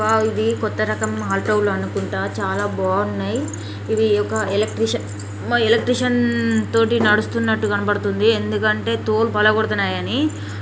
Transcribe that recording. ఆ ఇది కొత్త రకం ఆటో లు అనుకుంటా చాలా బాగున్నాయ్ ఇది ఒక ఎలక్ట్రీషియన్ ఎలక్ట్రీషియన్ తోటి నడుస్తున్నట్టు గణపడుతుంది ఎందుకంటే తోలు పడగొడుతున్నాయ్ అని --